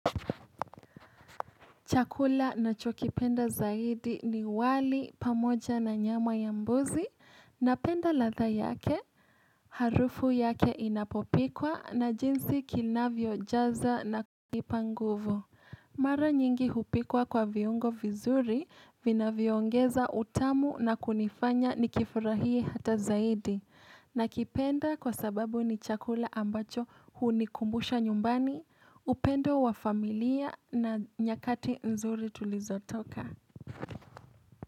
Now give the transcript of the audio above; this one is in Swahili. Chakula nachokipenda zaidi ni wali, pamoja na nyama ya mbuzi, napenda ladha yake, harufu yake inapopikwa na jinsi kinavyojaza na kukipa nguvu. Mara nyingi hupikwa kwa viungo vizuri vina viongeza utamu na kunifanya nikifurahie hata zaidi na kipenda kwa sababu ni chakula ambacho hunikumbusha nyumbani, upendo wa familia na nyakati nzuri tulizo toka.